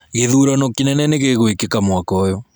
Ngĩthurano kĩnene nĩgĩgwĩkĩka mwaka ũyũ.